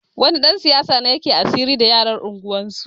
Wani ɗan siyasa ne yake asiri da yaran unguwarsu